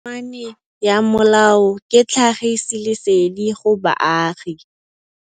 Tokomane ya molao ke tlhagisi lesedi go baagi.